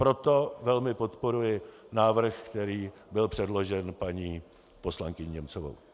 Proto velmi podporuji návrh, který byl předložen paní poslankyní Němcovou.